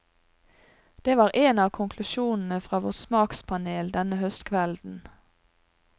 Det var en av konklusjonene fra vårt smakspanel denne høstkvelden.